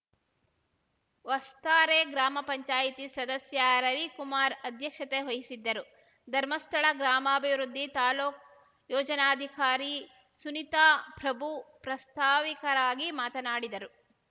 ವಸ್ತಾರೆ ಗ್ರಾಮ ಪಂಚಾಯಿತಿ ಸದಸ್ಯ ರವಿಕುಮಾರ್‌ ಅಧ್ಯಕ್ಷತೆ ವಹಿಸಿದ್ದರು ಧರ್ಮಸ್ಥಳ ಗ್ರಾಮಾಭಿವೃದ್ಧಿ ತಾಲೂಕು ಯೋಜನಾಧಿಕಾರಿ ಸುನೀತಾ ಪ್ರಭು ಪ್ರಾಸ್ತಾವಿಕರಾಗಿ ಮಾತನಾಡಿದರು